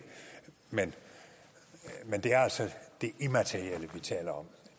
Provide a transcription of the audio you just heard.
men det er altså det immaterielle vi taler om